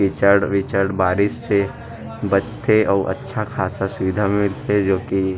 किचड़-विचड़ बारिश से बचके आऊ अच्छा खासा सुविधा मिलथे जो की--